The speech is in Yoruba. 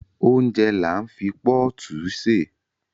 Óúnjẹ là ń fi pọ́ọ̀tù ṣè